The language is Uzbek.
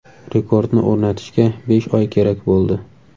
Rekordni o‘rnatishga besh oy kerak bo‘ldi.